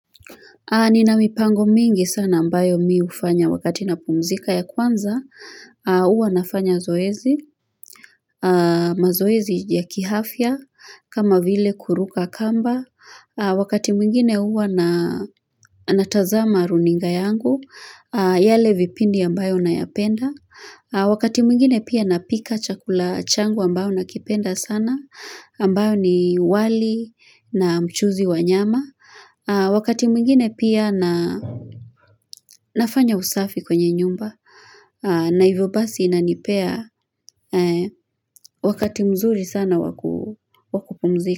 Nina mipango mingi sana ambayo mi hufanya wakati napumzika ya kwanza. Huwa nafanya zoezi, mazoezi ya kiafya, kama vile kuruka kamba. Wakati mwingine huwa natazama runinga yangu, yale vipindi ambayo nayapenda. Wakati mwingine pia napika chakula changu ambao nakipenda sana, ambayo ni wali na mchuuzi wa nyama. Wakati mwingine pia nafanya usafi kwenye nyumba na hivyo basi inanipea wakati mzuri sana waku wakupumzika.